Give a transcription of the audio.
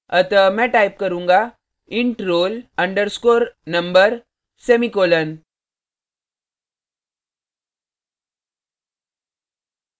अतः मैं type करूँगा int roll underscore number semicolon